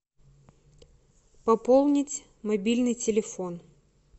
пополнить мобильный телефон